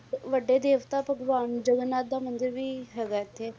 ਵੱਡੇ ਦੇਸ ਦਾ ਭਗਵਾਨ ਜਗਨਨਾਥ ਦਾ ਮੰਦਿਰ ਵੀ ਹੈਗਾ ਹੈ ਇੱਥੇ,